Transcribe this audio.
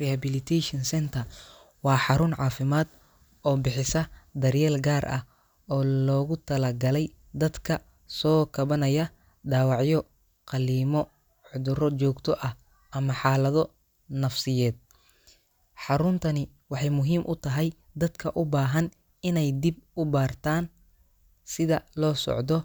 Rehabilitation center waa xarun caafimaad oo bixisa daryeel gaar ah oo loogu talagalay dadka ka soo kabanaya dhaawacyo, qalliimo, cudurro joogto ah ama xaalado nafsiyeed. Xaruntani waxay muhiim u tahay dadka u baahan inay dib u bartaan sida loo socdo,